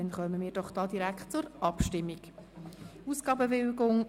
Damit kommen wir direkt zur Abstimmung «Ausgabenbewilligung